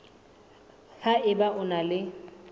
ha eba o na le